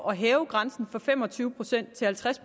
at hæve grænsen fra fem og tyve procent til halvtreds